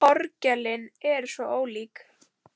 Orgelin eru svo ólík.